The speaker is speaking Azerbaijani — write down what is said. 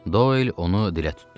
Doel onu dilə tutdu.